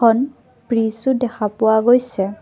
এখন ব্ৰিজো দেখা পোৱা গৈছে।